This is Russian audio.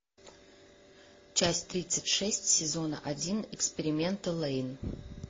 часть тридцать шесть сезона один эксперименты лэйн